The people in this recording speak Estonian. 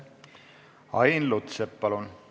Ain Lutsepp, palun!